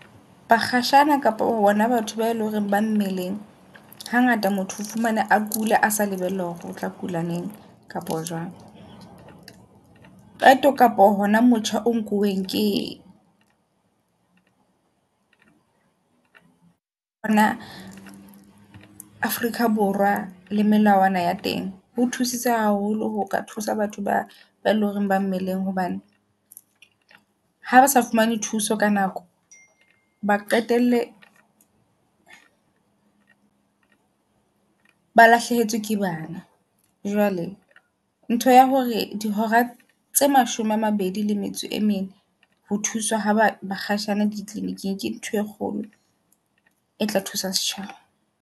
Ba kgashane kapa hona batho ba eleng hore ba mmeleng. Hangata motho o fumane a kula a sa lebella hore o tla kula neng kapa jwang. Qeto kapo hona motjha o nkuweng ke mona Afrika Borwa le melawana ya teng. Ho thusitse haholo ho ka thusa batho ba ba leng hore ba mmeleng hobane ha ba sa fumane thuso ka nako, ba qetelle ba lahlehetswe ke bana. Jwale ntho ya hore dihora tse mashome a mabedi le metso e mene ho thuswa ha ba bakgashane di kliniking, ke ntho e kgolo e tla thusa setjhaba.